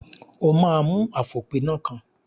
O máa mú àfòpiná kan.